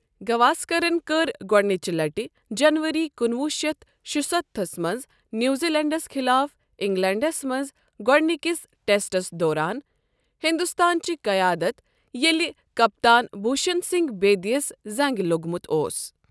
گواسکرَن كٔر گۄڈٕ نِچہِ لَٹہِ جنوری کُنوُہ شیٚتھ شُستتھہَس منٛز نیوزیلینڈَس خلاف اِنٛگلینڈَس منٛز گۄڈٕنِکِس ٹیٚسٹَس دوران ہندوستانٕچ قیادت ییٚلہِ کَپتان بشن سنگھ بیدییَس زَنٛگہِ لوٚگمُت اوس ۔